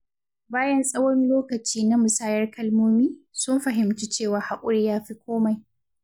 Bayan tsawon lokaci na musayar kalmomi, sun fahimci cewa hakuri yafi komai.